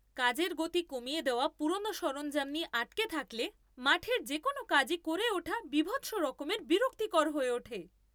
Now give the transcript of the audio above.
কাজের গতি কমিয়ে দেওয়া পুরনো সরঞ্জাম নিয়ে আটকে থাকলে মাঠের যে কোনও কাজই করে ওঠা বীভৎস রকমের বিরক্তিকর হয়ে ওঠে।